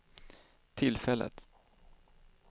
tillfället